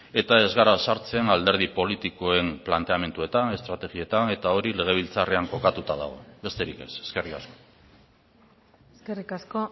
eta ez gara sartzen alderdi politikoen planteamenduetan estrategietan eta hori legebiltzarrean kokatuta dago besterik ez eskerrik asko eskerrik asko